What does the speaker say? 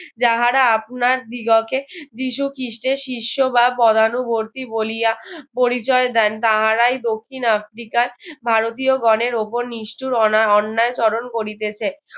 যাহারা আপনার দিগকে যীশু খ্রীষ্টের শিষ্য বা পদানুবর্তী বলিয়া পরিচয় দেন তাহারাই দক্ষিণ আফ্রিকার ভারতীয়গণের উপর নিষ্ঠূর অ~ অন্যায় স্মরণ করিতেছে